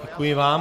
Děkuji vám.